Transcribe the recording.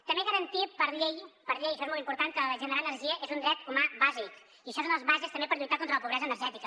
també garantir per llei per llei això és molt important que generar energia és un dret humà bàsic i això és una de les bases també per lluitar contra la pobresa energètica